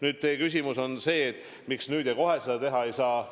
Nüüd, teie küsimus on, miks nüüd ja kohe seda teha ei saa.